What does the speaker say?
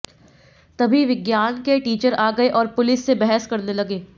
तभी विज्ञान के टीचर आ गए और पुलिस से बहस करने लगे